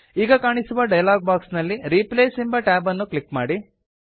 ಈಗ ಕಾಣಿಸುವ dialog box ನಲ್ಲಿ ರಿಪ್ಲೇಸ್ ಎಂಬ ಟ್ಯಾಬ್ ಅನ್ನು ಕ್ಲಿಕ್ ಮಾಡಿ